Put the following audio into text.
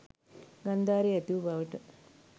ගන්ධාරයේ ඇතිවූ බවට